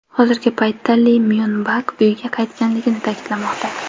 Hozirgi paytda Li Myon Bak uyiga qaytganligi ta’kidlanmoqda.